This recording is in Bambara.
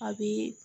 A bi